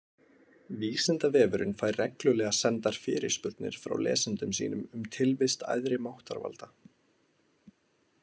Vísindavefurinn fær reglulega sendar fyrirspurnir frá lesendum sínum um tilvist æðri máttarvalda.